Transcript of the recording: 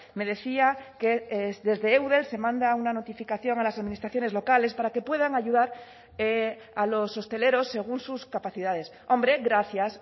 me decía que desde eudel se manda una notificación a las administraciones locales para que puedan ayudar a los hosteleros según sus capacidades hombre gracias